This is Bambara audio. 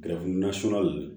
Gɛrɛgɛrɛ nasugu ninnu